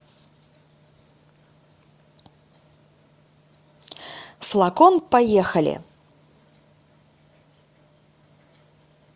флакон поехали